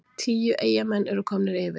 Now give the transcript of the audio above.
Tíu Eyjamenn eru komnir yfir!